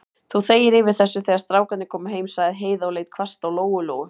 Þú þegir yfir þessu, þegar strákarnir koma heim, sagði Heiða og leit hvasst á Lóu-Lóu.